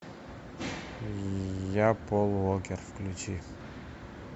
я пол уокер включи